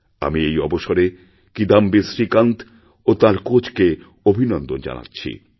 আমি এই অবসরেকিদাম্বী শ্রীকান্ত ও তাঁর কোচকে অভিনন্দন জানাচ্ছি